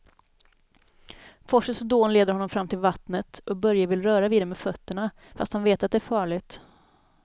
Forsens dån leder honom fram till vattnet och Börje vill röra vid det med fötterna, fast han vet att det är farligt.